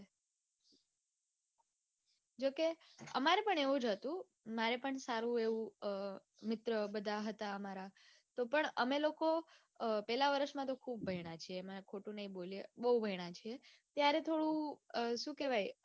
જોકે અમારે પણ એવું જ હતું મારે પણ સારું એવું મિત્ર બધા મારા હતા તોપણ પેલા વરસમાં તો ખુબ ભણ્યા છીએ મેં ખોટું નાઈ બોલું બૌ ભણ્યા છીએ. ત્યારે થોડું શું કેવાય